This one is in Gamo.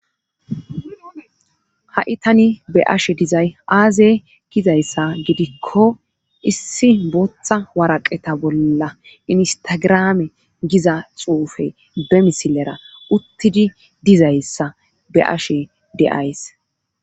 Ha,i tani be ashe dizay aazey gizayssa gidikko issi booththa waraqeta bolla instagirame giza xuufe be misilera uttidi dizayssa be ashe de7ays